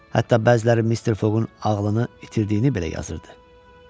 Hətta bəziləri Mister Fogun ağlını itirdiyini belə yazırdı.